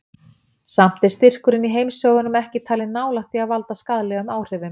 Samt er styrkurinn í heimshöfunum ekki talinn nálægt því að valda skaðlegum áhrifum.